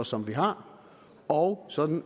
som vi har og så vi